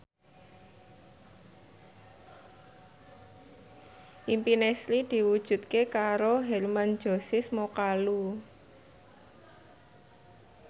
impine Sri diwujudke karo Hermann Josis Mokalu